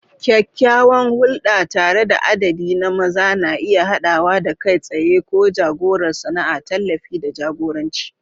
Kyakkyawan hulɗa tare da adadi na maza na iya haɗawa da kai tsaye ko jagorar sana'a, tallafi, da jagoranci.